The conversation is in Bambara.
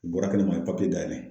U bɔra kɛnɛ ma , a ye dayɛlɛ.